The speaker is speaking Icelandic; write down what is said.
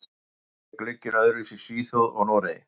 Af hverju er glugginn öðruvísi í Svíþjóð og Noregi?